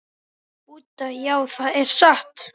Budda: Já, það er satt.